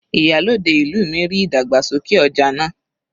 Ìyálòde ìlú mi ríi ìdàgbàsókè ọja náà.